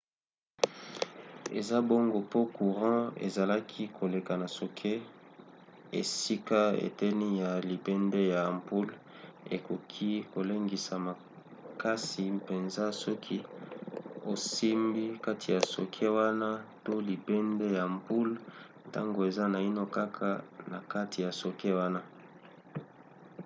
eza bongo po courant ezalaki koleka na socket esika eteni ya libende ya ampoule ekoki kolengisa makasi mpenza soki osimbi kati ya socket wana to libende ya ampoule ntango eza naino kaka na kati ya socket wana